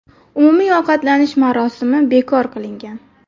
Umumiy ovqatlanish marosimi bekor qilingan.